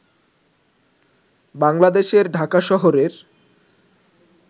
বাংলাদেশের ঢাকা শহরের